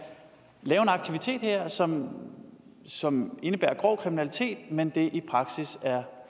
lave en aktivitet her som som indebærer grov kriminalitet men som det i praksis er